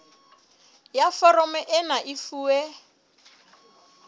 ya foromo ena e fuwe